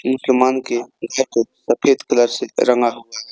सफेद कलर से रंगा हुआ है।